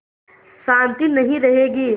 शान्ति नहीं रहेगी